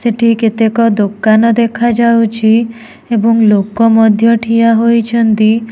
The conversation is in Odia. ସେଠି କେତେକ ଦୋକାନ ଦେଖାଯାଉଛି ଏବଂ ଲୋକ ମଧ୍ୟ ଠିଆ ହୋଇଛନ୍ତି।